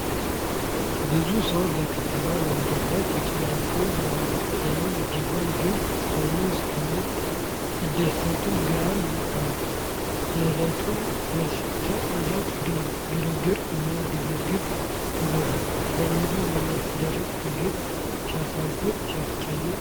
ብዙ ሰዉ በከተማ መንገድ ላይ ተጨናንቋል። ያም ቢሆን ግን በሙዝ ክምር ሲደሰቱ ግሩም ነው ። የዕለት ተዕለት ግርግር እና ግብግብ ይበዛል። ለኑሮ የሚደረግ ትግል ሲያሳዝን! ሲያጨናንቅ!